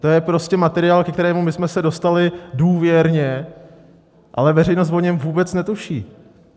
To je prostě materiál, ke kterému my jsme se dostali důvěrně, ale veřejnost o něm vůbec netuší.